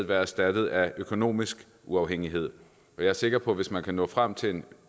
være erstattet af økonomisk uafhængighed jeg er sikker på at hvis man kan nå frem til en